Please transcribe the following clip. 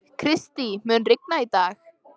Kristý, mun rigna í dag?